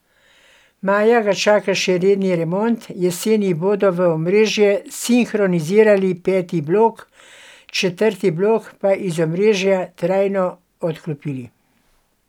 Maja ga čaka še redni remont, jeseni bodo v omrežje sinhronizirali peti blok, četrti blok pa iz omrežja trajno odklopili.